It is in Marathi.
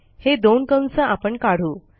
हे दोन कंस आपण काढू